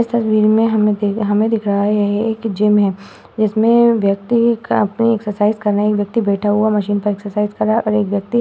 इस तस्वीर में हमें दिख हमें दिख रहा है। यह एक जिम है। जिसमें व्यक्ति काफी एक्सरसाइज कर रहे हैं। एक व्यक्ति बैठा हुआ है। मशीन पे एक्सरसाइज कर रहा है और एक व्यक्ति --